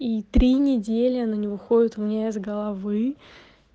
и три недели она не выходит у меня из головы